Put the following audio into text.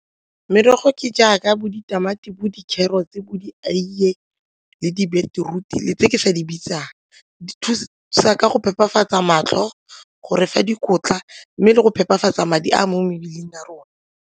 Merogo ke jaaka bo ditamati, bo dikgerotse, bo dieiye le di-beetroot-e le tse ke sa di bitsang, di thusa ka go phepafatsa matlho go refa dikotla mme le go phepafatsa madi a mo mebeleng ya rona.